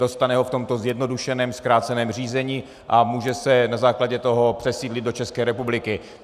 Dostane ho v tomto zjednodušeném zkráceném řízení a může se na základě toho přesídlit do České republiky.